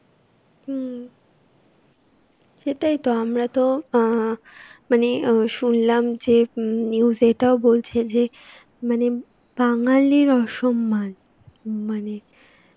হম, সেটাইতো. আমরা তো অ্যাঁ মানে আ শুনলাম যে, হম news এ এটাও বলছে যে, মানে উম বাঙালির অসন্মান. মানে